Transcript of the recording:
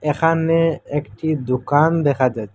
এখানে একটি দোকান দেখা যাছ--